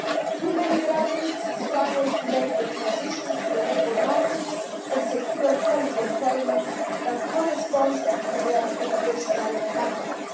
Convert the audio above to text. Too many graduates struggle to make the transition to the labour market and secure quality employment that corresponds to their educational background.